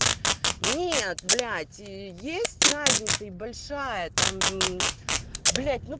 неет блять есть разница и большая там блять ну